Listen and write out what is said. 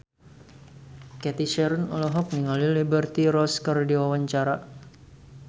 Cathy Sharon olohok ningali Liberty Ross keur diwawancara